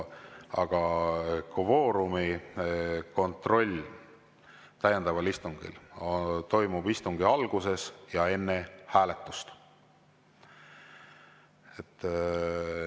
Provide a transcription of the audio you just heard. Aga kvoorumi kontroll täiendaval istungil toimub istungi alguses ja enne hääletust.